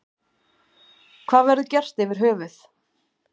Hvað verður gert yfir höfuð.